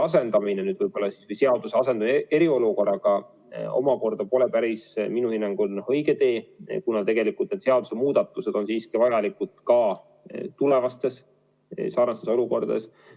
Samas seaduse asendamine eriolukorraga pole minu hinnangul päris õige tee, kuna need seadusemuudatused on vajalikud ka tulevastes säärastes olukordades.